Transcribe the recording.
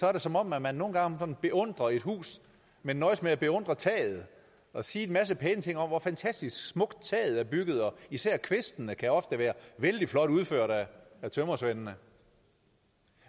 er det som om man man nogle gange beundrer et hus men nøjes med at beundre taget og siger en masse pæne ting om hvor fantastisk smukt taget er bygget og især kvistene kan ofte være vældig flot udført af tømrersvendene